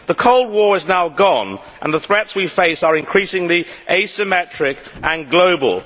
The Cold War is now gone and the threats we face are increasingly asymmetric and global.